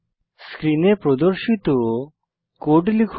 স্ক্রিনে প্রদর্শিত কোড লিখুন